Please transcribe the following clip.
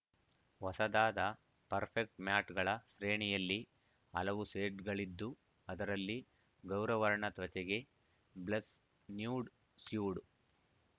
ಹೊಸದಾದ ಪರ್ಫೆಕ್ಟ್ ಮ್ಯಾಟ್‌ಗಳ ಶ್ರೇಣಿಯಲ್ಲಿ ಹಲವು ಶೇಡ್‌ಗಳಿದ್ದು ಅದರಲ್ಲಿ ಗೌರವರ್ಣ ತ್ವಚೆಗೆ ಬ್ಲಷ್‌ ನ್ಯೂಡ್‌ ಸ್ಯೂಡ್‌